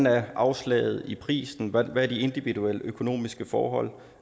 er afslaget i prisen hvad er de individuelle økonomiske forhold